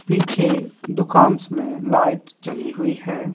पीछे दुकांस में लाइट जली हुई है।